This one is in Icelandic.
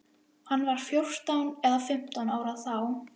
Hann var fjórtán eða fimmtán ára þá.